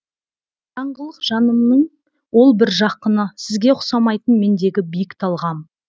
қараңғылық жанымнын ол бір жақыны сізге ұқсамайтын мендегі биік талғам